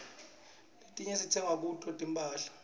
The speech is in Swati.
letinye sitsenga kuto tinphahla